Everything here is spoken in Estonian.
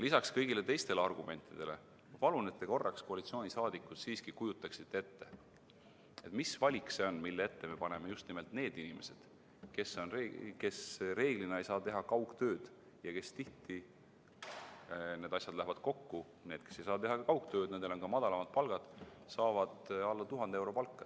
Lisaks kõigile teistele argumentidele ma palun, et te korraks, koalitsiooni liikmed, siiski kujutaksite ette, mis valik see on, mille ette me paneme just nimelt need inimesed, kes reeglina ei saa teha kaugtööd ja kes tihti – need asjad on koos, nendel, kes ei saa teha kaugtööd, on ka madalamad palgad – saavad alla 1000 euro palka.